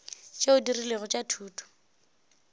tšeo di rilego tša thuto